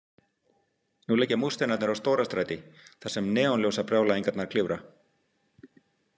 Nú liggja múrsteinarnir á Stórastræti þar sem neonljósabrjálæðingarnar klifra.